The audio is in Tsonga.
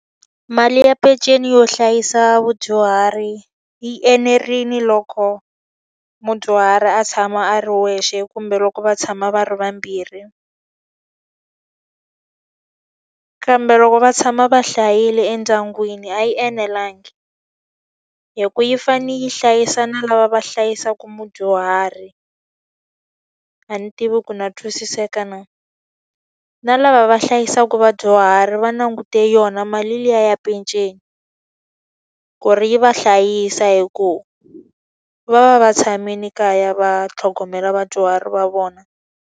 Mali ya peceni yo hlayisa vadyuhari yi enerile loko mudyuhari a tshama a ri yexe kumbe loko va tshama va ri vambirhi. Kambe loko va tshama va hlayile endyangwini a yi enelanga, hikuva yi fanele yi hlayisa na lava va hlayisaka mudyuhari. A ni tivi ku na twisiseka na. Na lava va hlayisaka vadyuhari va langute yona mali liya ya peceni, ku ri yi va hlayisa hikuva va va va tshamile kaya va tlhogomela vadyuhari va vona.